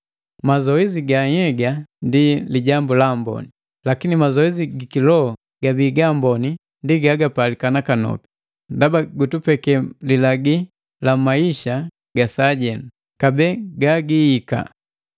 Mazoesi ga nhyega ndi lijambu la amboni, lakini mazoesi giki loho gabii gaamboni ndi gagapalika nakanopi, ndaba gutulagi woti mu maisa ga sajenu, kabee haga gaiahika.